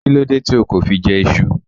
Why didn't you eat Yam?